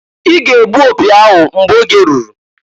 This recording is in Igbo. I ga -egbu opi ahụ mgbe oge ruru!